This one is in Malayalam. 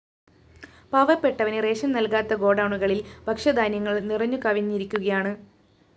പാവപ്പെട്ടവന് റേഷൻസ്‌ നല്‍കാതെ ഗോഡൗണുകളില്‍ ഭക്ഷ്യധാന്യങ്ങള്‍ നിറഞ്ഞുകവിഞ്ഞിരിക്കുകയാണ്